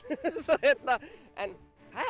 en